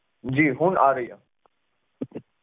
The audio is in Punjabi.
ਜੀ ਹੁਣ ਆ ਰਹੀ ਆ